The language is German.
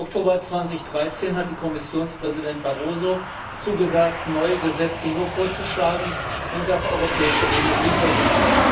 Im Oktober 2013 hatte Kommissionpräsident Barroso zugesagt, neue Gesetze nur vorzuschlagen, wenn sie auf europäischer Ebene sinnvoll sind.